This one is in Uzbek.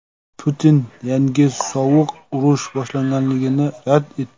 Putin yangi sovuq urush boshlanganligini rad etdi.